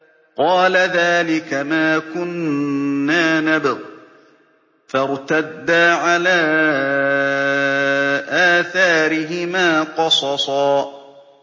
قَالَ ذَٰلِكَ مَا كُنَّا نَبْغِ ۚ فَارْتَدَّا عَلَىٰ آثَارِهِمَا قَصَصًا